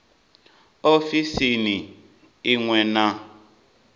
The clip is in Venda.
ofisini i ṅ we na